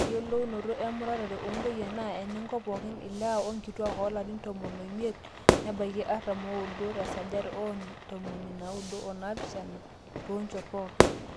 ore eyiolounoto emurata oontoyie naa enenkop pooki ilewa onkituaak oolarin tomon oimiet nebaiki artam ooudo 97% toonchot pooki